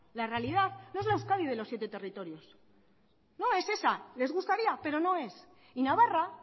la realidad no es la euskadi de los siete territorios no es esa les gustaría pero no es y navarra